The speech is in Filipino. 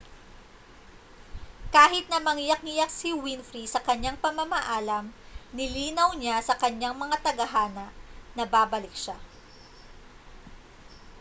kahit na mangiyak-ngiyak si winfrey sa kanyang pamamaalam nilinaw niya sa kanyang mga tagahanga na babalik siya